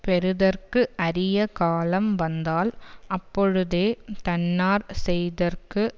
பெறுதற்கு அரிய காலம் வந்தால் அப்பொழுதே தன்னாற் செய்தற்கு